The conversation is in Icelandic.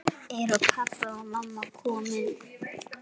Eru pabbi og mamma komin?